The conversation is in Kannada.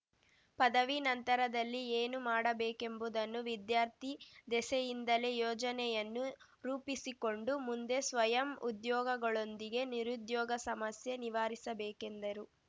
ಪದವಿ ನಂತರದಲ್ಲಿ ಏನು ಮಾಡಬೇಕೆಂಬುದನ್ನು ವಿದ್ಯಾರ್ಥಿ ದೆಸೆಯಿಂದಲೇ ಯೋಜನೆಯನ್ನು ರೂಪಿಸಿಕೊಂಡು ಮುಂದೆ ಸ್ವಯಂ ಉದ್ಯೋಗಗಳೊಂದಿಗೆ ನಿರುದ್ಯೋಗ ಸಮಸ್ಯೆ ನಿವಾರಿಸಬೇಕೆಂದರು